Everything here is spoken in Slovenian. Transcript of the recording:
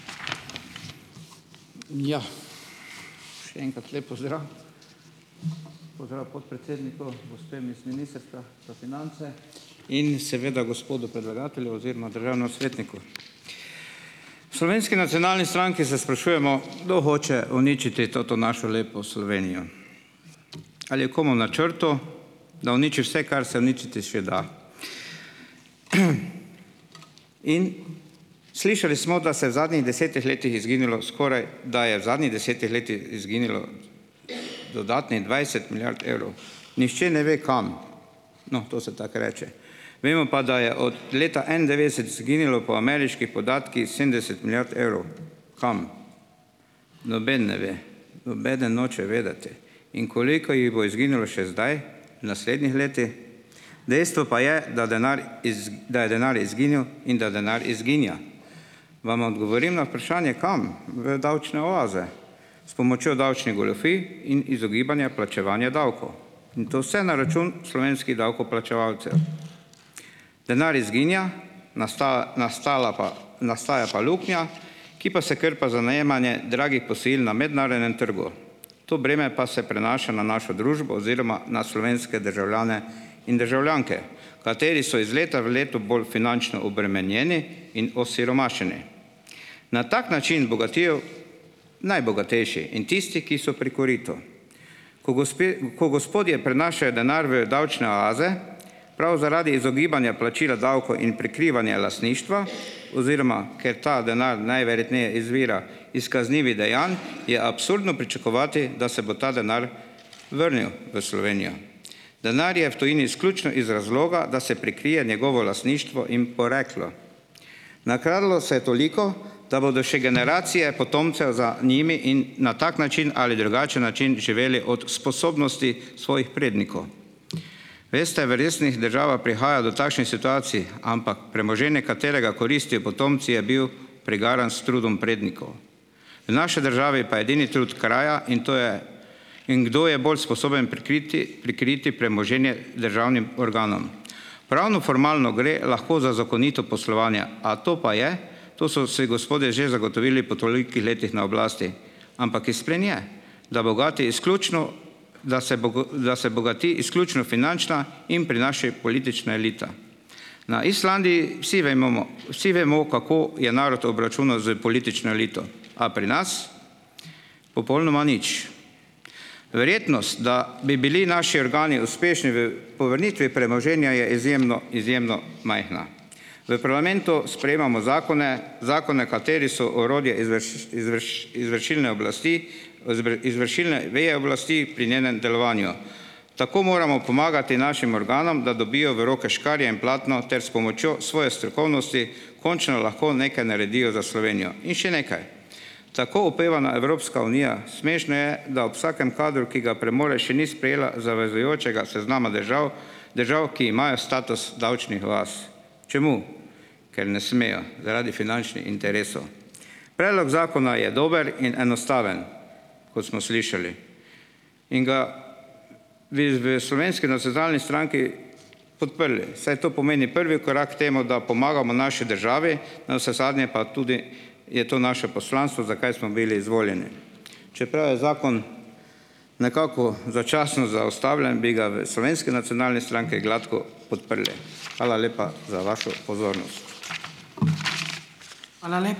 Ja, Še enkrat lep pozdrav. Pozdrav podpredsedniku, gospem iz Ministrstva za finance in seveda gospodu predlagatelju oziroma državnem svetniku. V Slovenski nacionalni stranki se sprašujemo, kdo hoče uničiti to našo lepo Slovenijo. Ali je komu v načrtu, da uniči vse, kar se uničiti še da. In. Slišali smo, da se v zadnjih desetih letih izginilo skoraj, da je v zadnjih desetih letih izginilo dodatnih dvajset milijard evrov. Nihče ne ve, kam. No, to se tako reče. Vemo pa, da je od leta enaindevetdeset izginilo po ameriških podatkih sedemdeset milijard evrov. Kam? Noben ne ve. Nobeden noče vedeti. In koliko jih bo izginilo še zdaj v naslednjih letih? Dejstvo pa je, da denar iz, da je denar izginil in da denar izginja. Vam odgovorim na vprašanje, kam. V davčne oaze s pomočjo davčnih goljufij in izogibanja plačevanja davkov. In to vse na račun slovenskih davkoplačevalcev. Denar izginja, nastala pa, nastaja pa luknja, ki pa se krpa za najemanje dragih posojil na mednarodnem trgu. To breme pa se prenaša na našo družbo oziroma na slovenske državljane in državljanke, kateri so iz leta v leto bolj finančno obremenjeni in osiromašeni. Na tak način bogatijo najbogatejši in tisti, ki so pri koritu. Ko gospe v, ko gospodje prenašajo denar v davčne oaze, prav zaradi izogibanja plačila davkov in prikrivanja lastništva, oziroma ker ta denar najverjetneje izvira iz kaznivih dejanj, je absurdno pričakovati, da se bo ta denar vrnil v Slovenijo. Denar je v tujini izključno iz razloga, da se prikrije njegovo lastništvo in poreklo. Nakradlo se je toliko, da bodo še generacije potomcev za njimi in na tak način ali drugačen način živeli od sposobnosti svojih prednikov. Veste, v resnih državah prihaja do takšnih situacij, ampak premoženje, katerega koristijo potomci, je bil prigaran s trudom prednikov. V naši državi pa je edini trud kraja in to je, in kdo je bolj sposoben prikriti, prikriti premoženje državnim organom. Pravnoformalno gre lahko za zakonito poslovanje, a to pa je, to so se gospodje že zagotovili po tolikih letih na oblasti, ampak izplen je, da bogati izključno, da se da se bogati izključno finančna in pri naši politična elita. Na Islandiji vsi vemomo, vsi vemo, kako je narod obračunal s politično elito, a pri nas popolnoma nič. Verjetnost, da bi bili naši organi uspešni v povrnitvi premoženja, je izjemno, izjemno majhna. V parlamentu sprejemamo zakone, zakone, kateri so orodje izvršilne oblasti, to se pravi izvršilne veje oblasti pri njenem delovanju. Tako moramo pomagati našim organom, da dobijo v roke škarje in platno ter s pomočjo svoje strokovnosti končno lahko nekaj naredijo za Slovenijo. In še nekaj, tako opevana Evropska unija, smešno je, da ob vsakem kadru, ki ga premore, še ni sprejela zavezujočega seznama držav, držav, ki imajo status davčnih oaz. Čemu? Ker ne smejo zaradi finančnih interesov. Predlog zakona je dober in enostaven, kot smo slišali, in ga bi z v Slovenski nacionalni stranki podprli, saj to pomeni prvi korak temu, da pomagamo naši državi, navsezadnje pa tudi je to naše poslanstvo, zakaj smo bili izvoljeni, čeprav je zakon nekako začasno zaustavljen, bi ga v Slovenski nacionalni stranki gladko podprli. Hvala lepa za vašo pozornost.